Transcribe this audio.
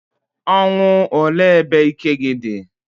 Ọnwụ, olee ebe ike gi di?